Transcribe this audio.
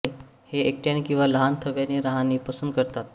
हे एकट्याने किंवा लहान थव्याने राहणे पसंत करतात